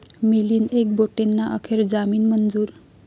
मिलिंद एकबोटेंना अखेर जामीन मंजूर